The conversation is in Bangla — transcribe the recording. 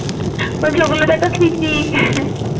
বলছি ওগুলোতো একটা স্মৃতি ।